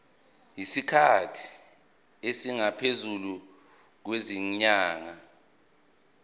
isikhathi esingaphezulu kwezinyanga